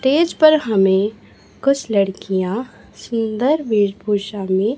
stage पर हमें कुछ लड़कियां सुंदर वेशभूषा में--